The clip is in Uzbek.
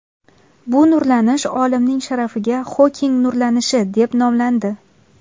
Bu nurlanish olimning sharafiga Xoking nurlanishi deb nomlandi.